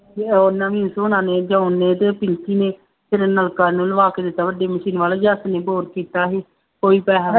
ਅਤੇ ਉਹ ਨਵੀਸ ਹੁਣਾਂ ਨੇ, ਜੋਹਨ ਨੇ ਅਤੇ ਉਹ ਪ੍ਰੀਤੀ ਨੇ, ਫੇਰ ਨਲਕਾ ਇਹਂਨੂੰ ਲਵਾ ਕੇ ਦਿੱਤਾ, ਵੱਡੀ ਮਸ਼ੀਨ ਵਾਲਾ, ਜੱਸ ਨੇ ਬੋਰ ਕੀਤਾ ਸੀ, ਕੋਈ ਪੈਸਾ ਨਹੀਂ